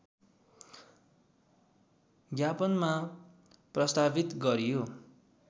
ज्ञापनमा प्रस्तावित गरियो